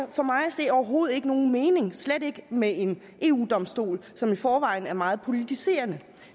for mig at se overhovedet ikke nogen mening slet ikke med en eu domstol som i forvejen er meget politiserende